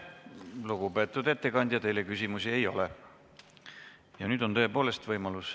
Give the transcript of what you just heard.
Lugupeetud ettekandja, teile küsimusi ei ole.